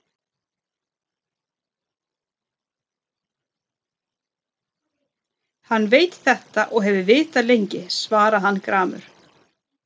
Hann veit þetta og hefur vitað lengi, svaraði hann gramur.